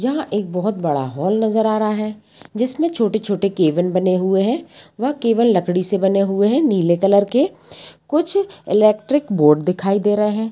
यहां एक बहुत बड़ा हॉल नजर आ रहा है जिसमे छोटे-छोटे केविन बने हुए है वह केवल लकड़ी से बने हुए है नीले कलर के कुछ इलेक्ट्रिक बोर्ड दिखाई दे रहे है।